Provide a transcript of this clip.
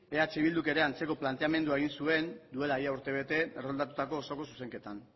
eh bilduk ere antzeko planteamendu egin zuen duela urte bete erroldatutako osoko zuzenketan